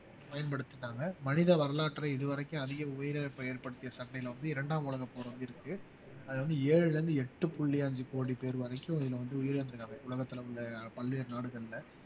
பயன்படுத்திட்டாங்க மனித வரலாற்றை இதுவரைக்கும் அதிக உயிரிழப்பை ஏற்படுத்திய சண்டைல வந்து இரண்டாம் உலகப் போர் வந்து இருக்கு அது வந்து ஏழுல இருந்து எட்டு புள்ளி அஞ்சு கோடி பேர் வரைக்கும் இதுல வந்து உயிரிழந்திருக்காங்க உலகத்துல உள்ள பல்வேறு நாடுகள்ல